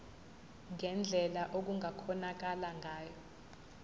ngendlela okungakhonakala ngayo